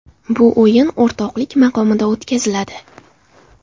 Bu o‘yin o‘rtoqlik maqomida o‘tkaziladi.